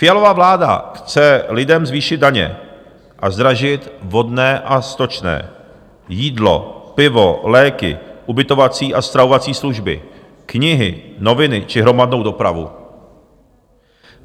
Fialova vláda chce lidem zvýšit daně a zdražit vodné a stočné, jídlo, pivo, léky, ubytovací a stravovací služby, knihy, noviny či hromadnou dopravu.